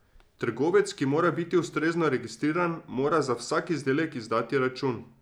Trgovec, ki mora biti ustrezno registriran, mora za vsak izdelek izdati račun.